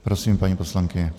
Prosím, paní poslankyně.